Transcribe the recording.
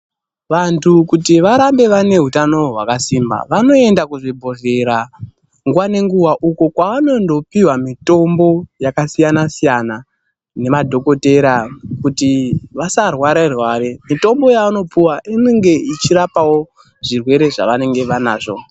Vandu kuti varambe vane hutano hwakasimba vanoenda kuzvibhedhlera nguva ngenguva uko kwavanondopihwa mitombo yakasiyana siyana nemadhokoteya kuti vasarware rware mitombo yavanopiwa inenge ichirapawo zvirwere zvavanenge vanazvo.